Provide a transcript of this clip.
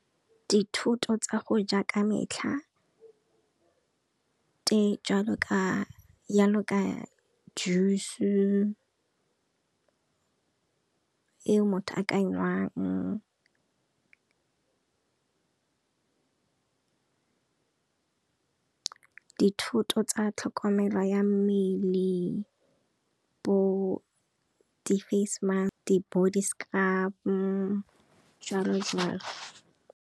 Dithoto tsa go ja ka metlha, tse jalo ka jusu, e motho a ka e enwang dithoto tsa tlhokomelo ya mmele bo di face musk di body scrub jwalo jwalo.